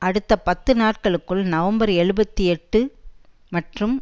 அடுத்த பத்து நாட்களுக்குள் நவம்பர் எழுபத்தி எட்டு மற்றும்